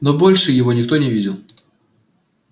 но больше его никто не видел